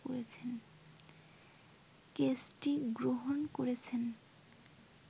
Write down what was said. কেসটি গ্রহণ করেছেন